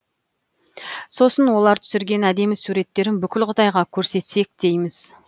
сосын олар түсірген әдемі суреттерін бүкіл қытайға көрсетсек дейміз